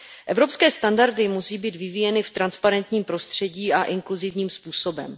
Evropské standardy musí být vyvíjeny v transparentním prostředí a inkluzivním způsobem.